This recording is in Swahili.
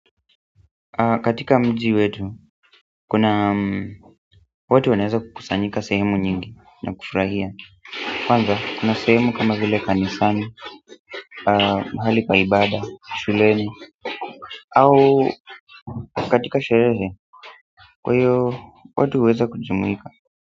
Katika mji wetu, kuna watu wanaweza kukusanyika sehemu nyingi na kufurahia. Kwanza, kuna sehemu kama vile kanisani, mahali pa ibada, shuleni au katika sherehe, kwa hiyo watu huweza kujumika.